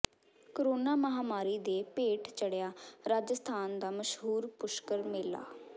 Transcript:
corona ਮਹਾਂਮਾਰੀ ਦੇ ਭੇਟ ਚੜਿਆ ਰਾਜਸਥਾਨ ਦਾ ਮਸ਼ਹੂਰ ਪੁਸ਼ਕਰ ਮੇਲਾ